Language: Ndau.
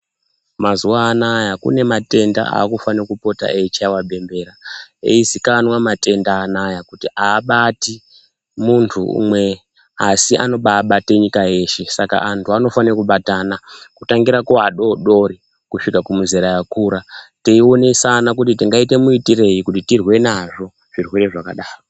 Mazuva anaya kune matenda akufane kupota eyi chaiwa bembera eyi ziikanwa matenda anaya kuti abati muntu umwe asi anobai bate nyika yeshe saka antu anofane kubatana ku tangira ku adodori kusvika ku muzera yakura tei onesana kuti tingaite mu itirei kuti tirwe nazvo zvirwere zvakadaro.